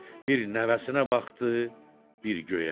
Bir nəvəsinə baxdı, bir göyə.